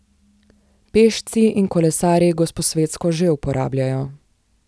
Pešci in kolesarji Gosposvetsko že uporabljajo.